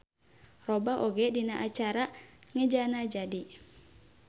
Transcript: Robah oge dina cara ngejana jadi.